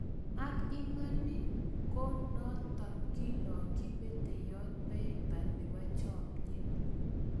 Ang Iman iii ng'o notok kiilokyi peteyot peiper nepoo chomyet?